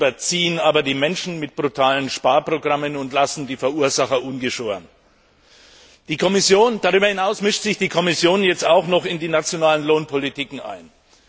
Sie überziehen aber die Menschen mit brutalen Sparprogrammen und lassen die Verursacher ungeschoren! Darüber hinaus mischt sich die Kommission jetzt auch noch in die nationale Lohnpolitik ein.